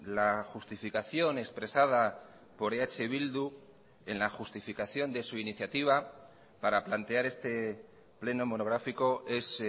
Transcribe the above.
la justificación expresada por eh bildu en la justificación de su iniciativa para plantear este pleno monográfico es